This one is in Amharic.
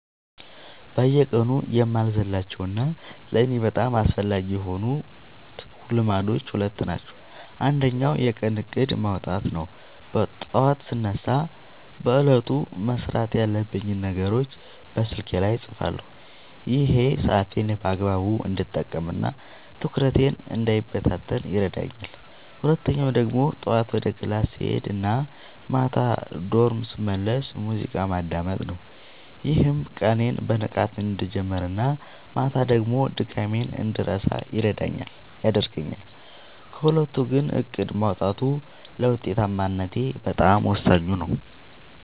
በየቀኑ የማልዘልላቸው እና ለእኔ በጣም አስፈላጊ የሆኑት ልማዶች ሁለት ናቸው። አንደኛው የቀን እቅድ (To-Do List) ማውጣት ነው፤ ጠዋት ስነሳ በዕለቱ መስራት ያለብኝን ነገሮች በስልኬ ላይ እጽፋለሁ። ይሄ ሰዓቴን በአግባቡ እንድጠቀምና ትኩረቴ እንዳይበታተን ይረዳኛል። ሁለተኛው ደግሞ ጠዋት ወደ ክላስ ስሄድ እና ማታ ወደ ዶርም ስመለስ ሙዚቃ ማዳመጥ ነው፤ ይህም ቀኔን በንቃት እንድጀምርና ማታ ደግሞ ድካሜን እንድረሳ ያደርገኛል። ከሁለቱ ግን እቅድ ማውጣቱ ለውጤታማነቴ በጣም ወሳኙ ነው።